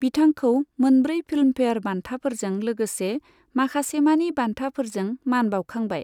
बिथांखौ मोनब्रै फिल्मफेयार बान्थाफोरजों लोगोसे माखासेमानि बान्थाफोरजों मान बाउखांबाय।